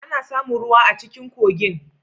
Ana samun ruwa a cikin kogin.